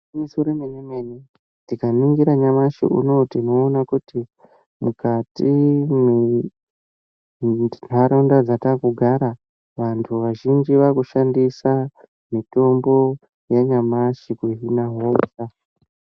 igwinyiso remene mene antu azhinji munharaunda yatinogara vakushandisa Mitombo yanyamashe kudzivirira hosha